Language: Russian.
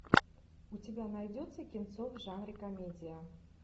у тебя найдется кинцо в жанре комедия